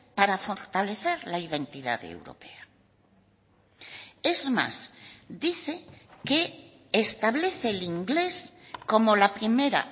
para fortalecer la identidad europea es más dice que establece el inglés como la primera